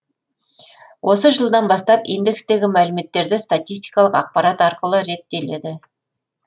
осы жылдан бастап индекстегі мәліметтерді статистикалық ақпарат арқылы реттеледі